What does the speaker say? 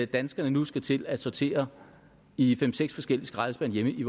danskerne nu skal til at sortere i fem seks forskellige skraldespande hjemme i